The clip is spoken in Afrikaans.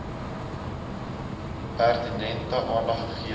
pertinente aandag gegee